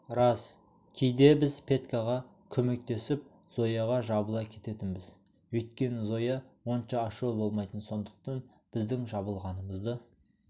рас кейде біз петькаға көмектесіп зояға жабыла кететінбіз өйткені зоя онша ашулы болмайтын сондықтан біздің жабылғанымызды